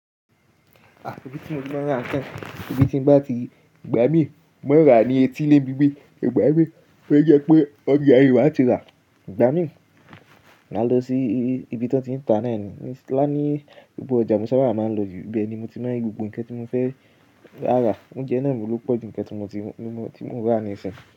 Àbí tí mo ti mọ̀ ọ́n rántí, àbí tí n bá ti gbá mí mọ́ra ní etílé bíbí, ìgbà mí fẹ́ jẹ́ pé ọgbà èèyà yìí máa ti rà, gbá mí, máa lọ sí ibi tí wọ́n ti ń ta náà, ní Sláámì, ibi tí ọjà Mọ́sálásí máa ń lọ jù, ibẹ̀ ni mo ti mọ̀ gbogbo nǹkan tí mo fẹ́ rà. Oúnjẹ náà ni mo lò pọ̀ ju nǹkan tí mo ti rà ní ìsìn.